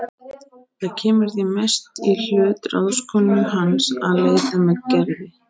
Það kemur því mest í hlut ráðskonu hans að leita með Gerði.